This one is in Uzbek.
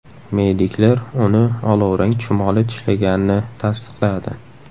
Mediklar uni olovrang chumoli tishlaganini tasdiqladi.